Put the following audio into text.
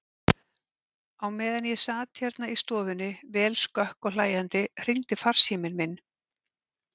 Á meðan ég sat hérna í stofunni, vel skökk og hlæjandi, hringdi farsíminn minn.